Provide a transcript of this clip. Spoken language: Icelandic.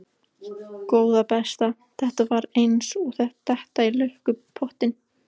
Góða besta. þetta var eins og að detta í lukkupottinn!